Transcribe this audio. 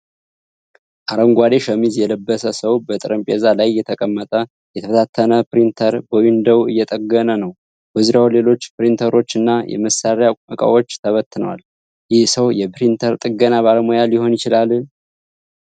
አረንጓዴ ሸሚዝ የለበሰ ሰው በጠረጴዛ ላይ የተቀመጠ የተበታተነ ፕሪንተር በዊንዳይ እየጠገነ ነው። በዙሪያው ሌሎች ፕሪንተሮች እና የመሳሪያ ዕቃዎች ተበትነዋል። ይህ ሰው የፕሪንተር ጥገና ባለሙያ ሊሆን ይችላል?